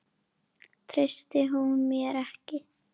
Treysti hún mér ekki?